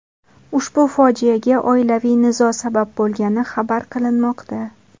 Ushbu fojiaga oilaviy nizo sabab bo‘lgani xabar qilinmoqda.